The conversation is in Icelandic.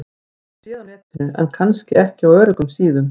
Höfum séð á Netinu- en kannski ekki á öruggum síðum.